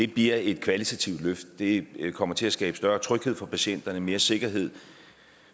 bliver et kvalitativt løft det kommer til at skabe større tryghed for patienterne og mere sikkerhed